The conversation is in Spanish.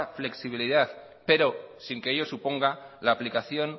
flexibilidad pero sin que ello suponga la aplicación